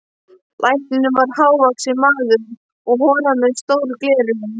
Læknirinn var hávaxinn maður og horaður með stór gleraugu.